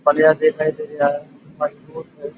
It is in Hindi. बलिया देखाई दे रहा है मजबूत है।